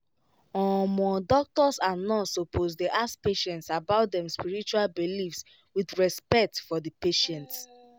omo doctors and nurse supposed dey ask patients about them spiritual beliefs with respect for the patient